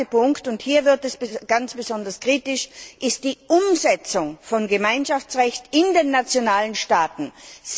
Der zweite Punkt, und hier wird es ganz besonders kritisch, ist die Umsetzung von Gemeinschaftsrecht auf nationaler Ebene.